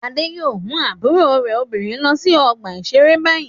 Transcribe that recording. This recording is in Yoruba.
Adé yóò mú àbúrò rẹ̀ obìnrin lọ sí ọgbà-ìṣeré báyìí.